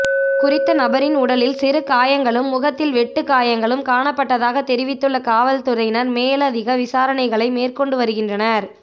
குறித்த நபரின் உடலில் சிறுகாயங்களும் முகத்தில் வெட்டு காயங்களும் காணப்பட்டதாக தெரிவித்துள்ள காவல்துறையினர் மேலதிக விசாரணைகளை மேற்கொண்டு வருகின்றனர்